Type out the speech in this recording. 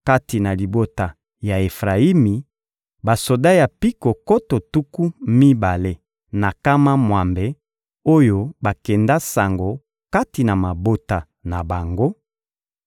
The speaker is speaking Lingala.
kati na libota ya Efrayimi: basoda ya mpiko nkoto tuku mibale na nkama mwambe oyo bakenda sango kati na mabota na bango;